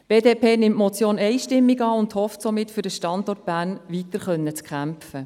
Die BDP nimmt die Motion einstimmig an und hofft somit, für den Standort Bern weiterkämpfen zu können.